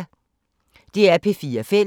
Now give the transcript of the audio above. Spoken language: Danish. DR P4 Fælles